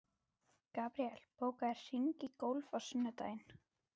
Gabriel, bókaðu hring í golf á sunnudaginn.